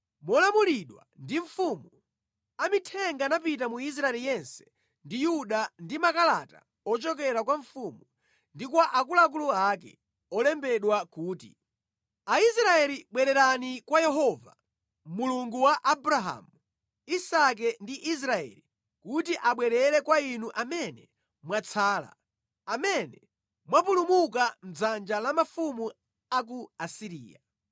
Molamulidwa ndi mfumu, amithenga anapita mu Israeli yense ndi Yuda ndi makalata ochokera kwa mfumu ndi kwa akuluakulu ake, olembedwa kuti, “Aisraeli bwererani kwa Yehova, Mulungu wa Abrahamu, Isake ndi Israeli, kuti abwerere kwa inu amene mwatsala, amene mwapulumuka mʼdzanja la mafumu a ku Asiriya.